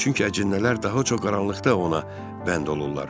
Çünki əcinnələr daha çox qaranlıqda ona bənd olurlar.